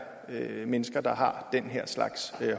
mennesker der har den her slags